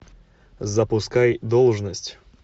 запускай должность